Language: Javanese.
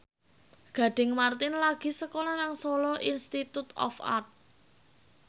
Gading Marten lagi sekolah nang Solo Institute of Art